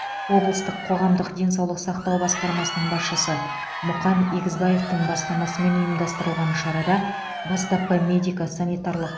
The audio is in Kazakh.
облыстық қоғамдық денсаулық сақтау басқармасының басшысы мұқан егізбаевтың бастамасымен ұйымдастырылған шарада бастапқы медико санитарлық